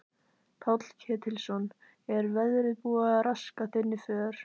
Páll Ketilsson: Er veðrið búið að raska þinni för?